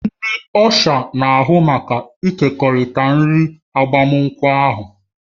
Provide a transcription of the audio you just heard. Ndị Ọsha na-ahụ maka ịkekọrịta nri agbamakwụkwọ ahụ